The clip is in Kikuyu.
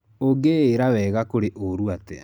Ũngĩĩra wega kũrĩ wũru atia?